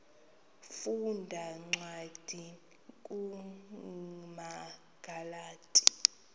funda cwadi kumagalati